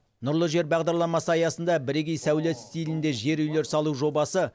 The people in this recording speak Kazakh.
нұрлы жер бағдарламасы аясында бірегей сәулет стилінде жер үйлер салу жобасы